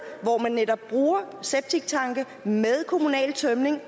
hvor man netop bruger septiktanke med kommunal tømning